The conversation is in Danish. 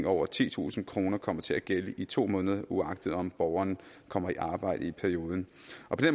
over titusind kroner kommer til at gælde i to måneder uagtet om borgeren kommer i arbejde i perioden